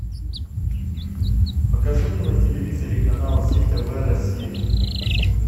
покажи мне на телевизоре канал зи тв россия